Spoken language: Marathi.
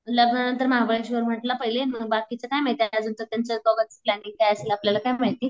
लग्न नंतर महाबळेश्वर म्हंटला पहिले मग बाकीचे काय माहिती मग अजून तर त्यांचं दोघांचं प्लांनिंग काय असेल आपल्याला काय माहिती.